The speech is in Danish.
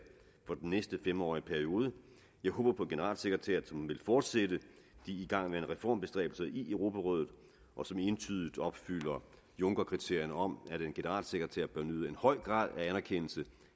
for den næste fem årige periode jeg håber på en generalsekretær som vil fortsætte de igangværende reformbestræbelser i europarådet og som entydigt opfylder junckerkriterierne om at en generalsekretær bør nyde en høj grad af anerkendelse